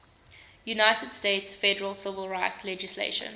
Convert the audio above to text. united states federal civil rights legislation